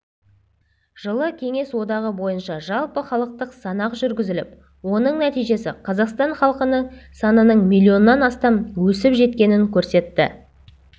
жылы кеңес одағы бойынша жалпыхалықтық санақ жүргізіліп оның нәтижесі қазақстан халқының санының миллионнан астам өсіп жеткенін көрсетті